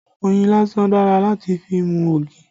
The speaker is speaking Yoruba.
Oyin lásán dára láti fi mú ogi